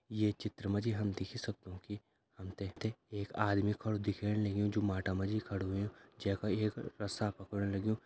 ये चित्र माजी हम देख ही सक्दों कि हमते ते एक आदमी खड़ु दिख्येण लगयूं जो माता माजी खड़ु हुयुं जेका एक रस्सा पकड़ं लगयूं।